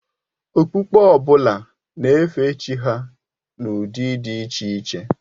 Okpukpe ọ bụla na-efe Chi ha n'ụdị dị iche iche.